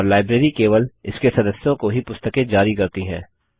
और लाइब्रेरी केवल इसके सदस्यों को ही पुस्तकें जारी करती हैं